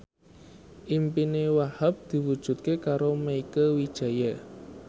impine Wahhab diwujudke karo Mieke Wijaya